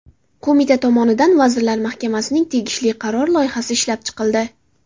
Qo‘mita tomonidan Vazirlar Mahkamasining tegishli qarori loyihasi ishlab chiqildi.